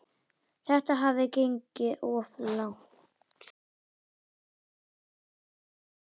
Þetta hafði gengið of langt.